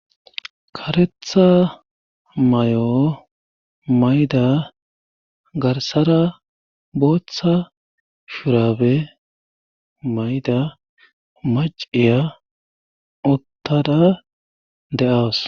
karetha may7o mayda garsara booththa shurabe mayda maciya uttada de7awas.